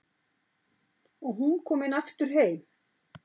Og hún komin aftur heim.